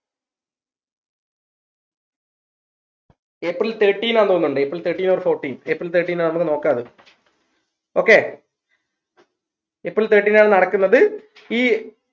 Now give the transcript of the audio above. April thirteen ആ തോന്നുണ്ട് April thirteen or fourteen April thirteen ആ നമ്മക് നോക്ക അത് okay April thirteen ആണ് നടക്കുന്നത് ഈ